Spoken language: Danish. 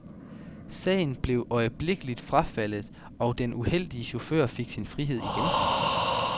Sagen blev øjeblikkelig frafaldet, og den uheldige chauffør fik sin frihed igen.